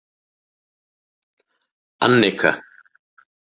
Annika